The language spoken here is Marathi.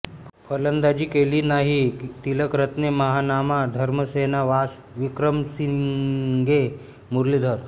फलंदाजी केली नाही तिलकरत्ने महानामा धर्मसेना वास विक्रमसिंगे मुरलीधरन